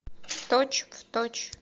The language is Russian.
точь в точь